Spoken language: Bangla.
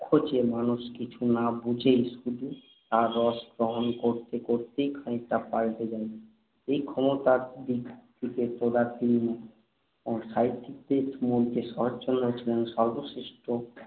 যে মানুষ কিছু না বুঝেই শুধু তার রসগ্রহণ করতে করতেই খানিকটা পালটে যায়। এই ক্ষমতার দিক থেকে তদানীন্তন সাহিত্যিকদের মধ্যে শরৎচন্দ্র ছিলেন সর্বশ্রেষ্ঠ,